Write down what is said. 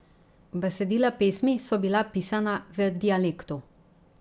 Besedila pesmi so bila pisana v dialektu.